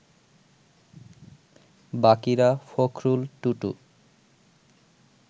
বাকিরা, ফকরুল, টুটু